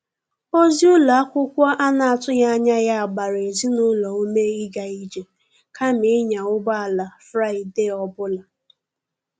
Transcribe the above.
Ozi ụlọ akwụkwọ a na-atụghị anya ya gbara ezinụlọ ume ịga ije kama ịnya ụgbọ ala Fraịde ọ bụla.